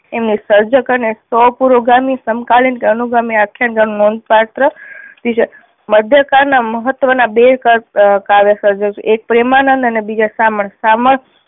એમની સર્જક અને સો પૂરો ગામીક સમકાલીન અનુ ક્રમે આખ્યાન કાળ નોંધ પાત્ર થયું છે. મધ્ય કાળ ના મહત્વ ના બે કા કાવ્ય સર્જક છે એક આખ્યાનો પ્રેમાનંદ અને બીજા શામળ. શામળ